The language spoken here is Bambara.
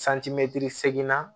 seginna